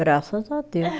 Graças a Deus.